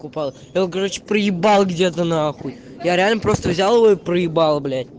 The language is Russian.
короче п где ты н я реально просто взял его проебала